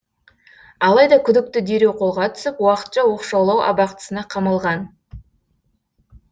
алайда күдікті дереу қолға түсіп уақытша оқшаулау абақтысына қамалған